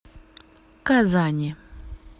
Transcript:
казани